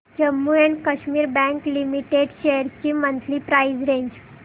Jammu and Kashmir bank limited shares ची monthly price range